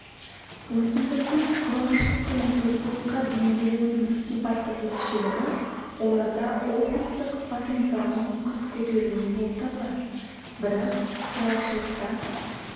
өсімдіктің құрғақшылық пен тұздылыққа бейімделуінің сипаттық ерекшелігі оларда осмостық потенциалдың күрт көтерілуі болып табылады бірақ құрғақшылықта